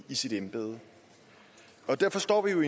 i sit embede derfor står vi jo